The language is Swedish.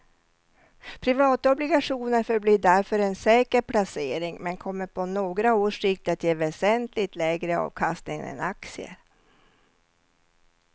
Privatobligationer förblir därför en säker placering men kommer på några års sikt att ge väsentligt lägre avkastning än aktier.